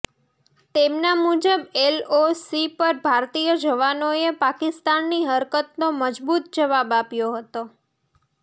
તેમના મુજબ એલઓસી પર ભારતીય જવાનોએ પાકિસ્તાનની હરકતનો મજબૂત જવાબ આપ્યો હતો